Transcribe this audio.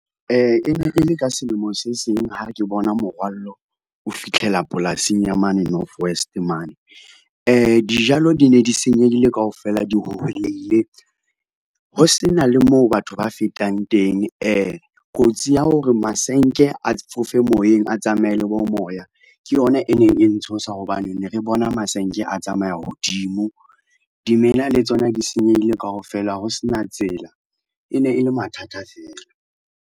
E ne e le ka selemo se seng ha ke bona morwallo o fitlhela polasing ya mane North West mane. Dijalo di ne di senyehile kaofela di hoholeile ho se na le moo batho ba fetang teng, kotsi ya hore masenke a fofe moyeng, a tsamaye le bo moya, ke yona e neng e ntshosa hobane, ne re bona masenke a tsamaya hodimo, dimela le tsona di senyehile kaofela ho sena tsela. E ne e le mathata fela.